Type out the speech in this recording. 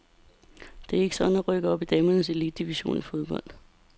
Det er ikke sådan at rykke op i damernes elitedivision i fodbold.